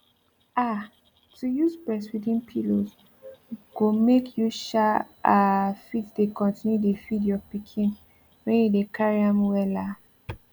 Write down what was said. ah to use breastfeeding pillows go make you um ah fit dey continue dey feed your pikin when you dey carry am well ah